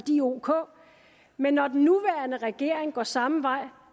ok men når den nuværende regering går samme vej